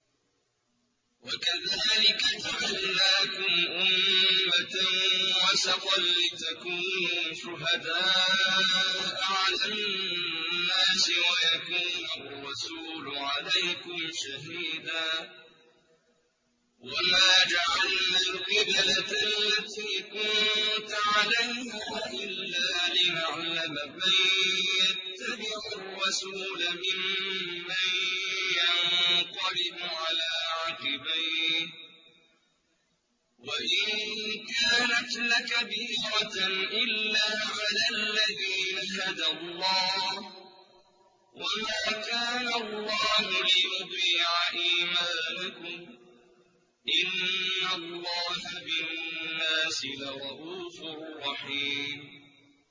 وَكَذَٰلِكَ جَعَلْنَاكُمْ أُمَّةً وَسَطًا لِّتَكُونُوا شُهَدَاءَ عَلَى النَّاسِ وَيَكُونَ الرَّسُولُ عَلَيْكُمْ شَهِيدًا ۗ وَمَا جَعَلْنَا الْقِبْلَةَ الَّتِي كُنتَ عَلَيْهَا إِلَّا لِنَعْلَمَ مَن يَتَّبِعُ الرَّسُولَ مِمَّن يَنقَلِبُ عَلَىٰ عَقِبَيْهِ ۚ وَإِن كَانَتْ لَكَبِيرَةً إِلَّا عَلَى الَّذِينَ هَدَى اللَّهُ ۗ وَمَا كَانَ اللَّهُ لِيُضِيعَ إِيمَانَكُمْ ۚ إِنَّ اللَّهَ بِالنَّاسِ لَرَءُوفٌ رَّحِيمٌ